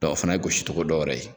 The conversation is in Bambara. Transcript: Dɔ o fana ye gosicogo dɔwɛrɛ ye.